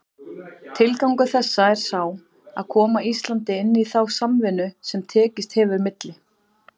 Tilgangur þessa er sá, að koma Íslandi inn í þá samvinnu, sem tekist hefur milli